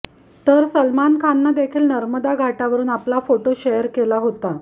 तर सलमान खाननं देखील नर्मदा घाटावरून आपला फोटो शेअर केला होता